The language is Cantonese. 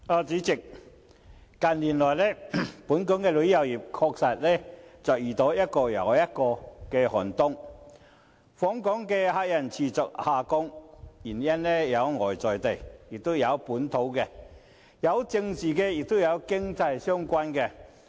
主席，近年來，本港旅遊業確實遇到一個又一個寒冬，訪港旅客人數持續下降，有外在的、本地的、政治的和經濟相關的原因。